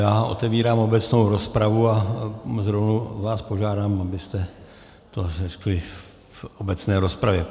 Já otevírám obecnou rozpravu a rovnou vás požádám, abyste to řekli v obecné rozpravě.